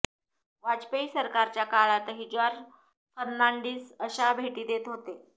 वाजपेयी सरकारच्या काळातही जॉर्ज फर्नांडिस अशाच भेटी देत होते